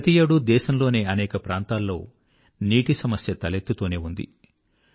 ప్రతియేడూ దేశంలోని అనేక ప్రాంతాల్లో నీటి సమస్య తలెత్తుతూనే ఉంది